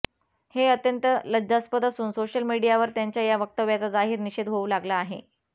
हे अत्यंत लज्जास्पद असून सोशल मीडियावर त्यांच्या या वक्तव्याचा जाहीर निषेध होऊ लागला आहे